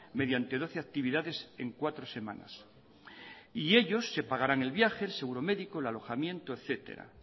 mediante doce actividades en cuatro semanas y ellos se pagarán el viaje el seguro médico el alojamiento etcétera